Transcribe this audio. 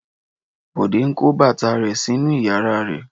Bọ̀dé ń kó bàtà rẹ̀ sínú ìyàrá rẹ̀.